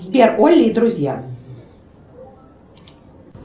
сбер олли и друзья